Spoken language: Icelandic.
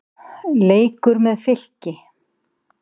Leikur með Fylki.